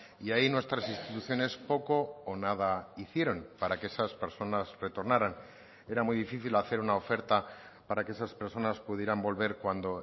y ahí nuestras instituciones poco o nada hicieron para que esas personas retornaran era muy difícil hacer una oferta para que esas personas pudieran volver cuando